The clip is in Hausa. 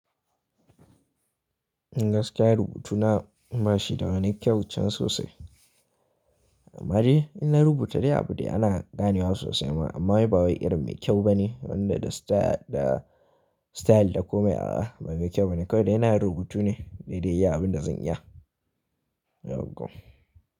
In gaskiya rubutu na bashi da wani kyau can sosai. Amma je in na rubuta dai abin da ana ganewa sosai ma amma bai bawa irin mai kyau bane. Wanda da style da style da komai a ba mai kyau bane. Kawai da yana rubutu ne dai dai ya yi abin da zan iya. Yaugwa.